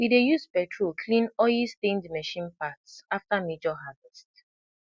we dey use petrol clean oilstained machine parts after major harvest